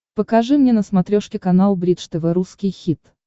покажи мне на смотрешке канал бридж тв русский хит